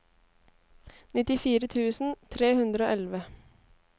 nittifire tusen tre hundre og elleve